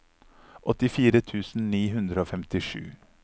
åttifire tusen ni hundre og femtisju